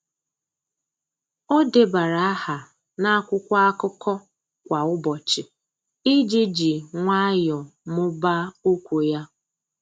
Ọ́ débara áhà n’ákwụ́kwọ́ ákụ́kọ́ kwa ụ́bọ̀chị̀ iji jì nwayọ́ọ́ mụ́ba okwu ya.